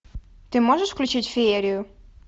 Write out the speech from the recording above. ты можешь включить феерию